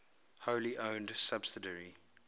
wholly owned subsidiary